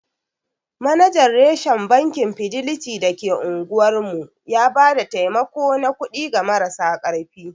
Manajan reshen Bankin fideliti da ke unguwar mu ya ba da taimako na kuɗi ga marasa ƙarfi.